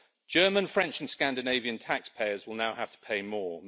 German, French and Scandinavian taxpayers will now have to pay more.